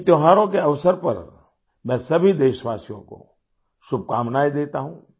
इन त्योहारों के अवसर पर मैं सभी देशवासियों को शुभकामनाएं देता हूँ